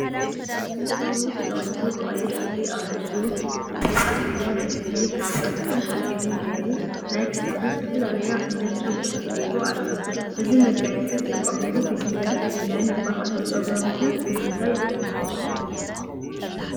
ፀጉሩ ተጠቅሊሉ ብቀይሕ ሕብሪ ኣብ ርእሱ ዕንቂ ኣሲሩ ፣ ናይ እዝኒ ካብ ዕንቁን ሓፂንን ጌሩ ፣ናይ ክሳዱ ዝተፈላለዩ ዓይነት ዕንቁታት ጌሩ ኣሎ ። እዚ መጋየፂ ዝጥቀሙሉ ብሄር መን ይበሃሉ? ፀጉሮም ከ ብምንታይ ይጥቅልልዎ ?